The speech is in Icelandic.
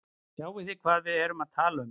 Skiljið þið hvað við erum að tala um.